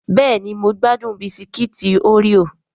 Bẹ́ẹ̀ni mo gbádùn Bisikíìtì oreo